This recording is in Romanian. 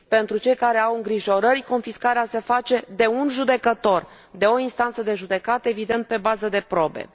Pentru cei care au îngrijorări confiscarea se face de un judecător, de o instanță de judecată, evident, pe bază de probe.